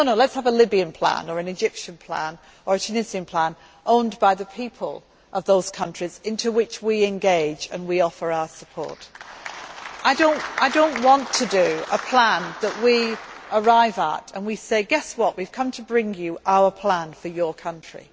No, let us have a Libyan Plan, or an Egyptian Plan, or a Tunisian Plan, owned by the people of those countries in which we engage and offer our support. I do not want to make a plan that we arrive at and about which we say guess what, we have come to bring you our plan for your country.